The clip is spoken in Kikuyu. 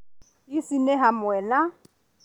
Ici nĩ hamwe na